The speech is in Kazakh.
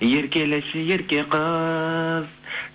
еркелеші ерке қыз